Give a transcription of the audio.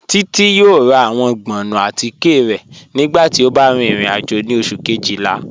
Títi yọ̀ọ̀ rà awọn gbọ̀nnù àtìké rẹ̀ nígbàtí ó bá rìn ìrìn-àjò ni Ọṣù̀ kejìlá.